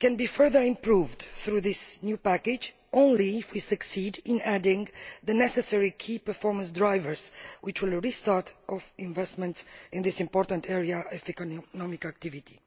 It can be further improved through this new package only if we succeed in adding the necessary key performance drivers, which will restart investment in this important area of economic activity.